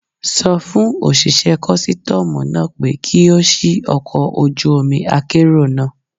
Sọ fún òṣìṣẹ́ kọ́sítọ́mù náà pé kí ó ṣì ọkọ̀ ojú omi akérò náà.